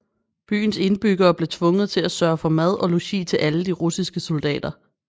Byens indbyggere blev tvunget til at sørge for mad og logi til alle de russiske soldater